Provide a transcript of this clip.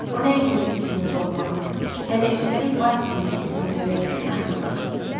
O nəinki öz sirrini qorumağa, hələ üstəlik Basilin sirrini öyrənməyə nail olmuşdu.